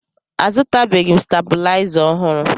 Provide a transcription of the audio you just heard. Azụtabeghị m stebilaịza ọhụrụ